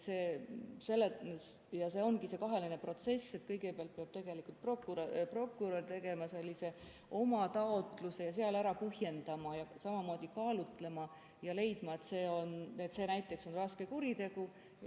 See ongi kahetine protsess, kus kõigepealt peab prokurör tegema oma taotluse ja seal ära põhjendama ning samamoodi kaalutlema ja leidma, et see näiteks on raske kuritegu.